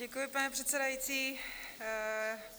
Děkuji, pane předsedající.